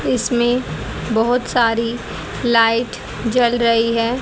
इसमें बहोत सारी लाइट जल रही है।